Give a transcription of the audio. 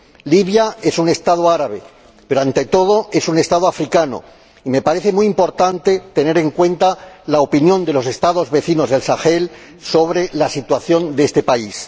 Libia es un Estado árabe, pero ante todo es un Estado africano y me parece muy importante tener en cuenta la opinión de los Estados vecinos del Sahel sobre la situación de este país.